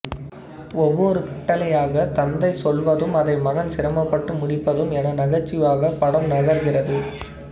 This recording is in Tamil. ஒவ்வொரு கட்டளையாகத் தந்தை சொல்வதும் அதை மகன் சிரமப்பட்டு முடிப்பதும் என நகைச்சுவையாக படம் நகர்கிறது